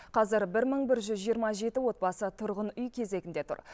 қазір бір мың бір жүз жиырма жеті отбасы тұрғын үй кезегінде тұр